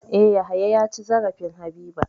E, Yahaya ya ci zarafin Habiba.